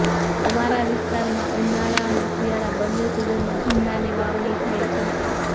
અમારા વિસ્તારમાં ઉનાળા અને શિયાળા બંને સિઝનમાં ભીંડાની વાવણી થાય છે